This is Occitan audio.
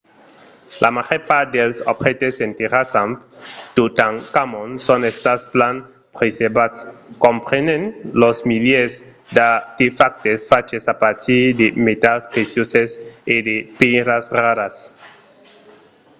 la màger part dels objèctes enterrats amb totankhamon son estats plan preservats comprenent los milièrs d'artefactes faches a partir de metals precioses e de pèiras raras